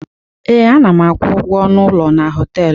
Ee, ana m akwụ ụgwọ ọnụ ụlọ na họtelụ.